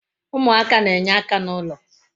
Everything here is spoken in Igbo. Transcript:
Umuaka na-enye aka na ulo